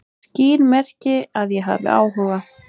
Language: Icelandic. Skýr merki að ég hafi áhuga